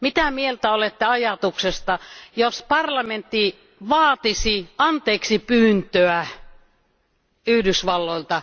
Mitä mieltä olette ajatuksesta, jos parlamentti vaatisi anteeksipyyntöä Yhdysvalloilta?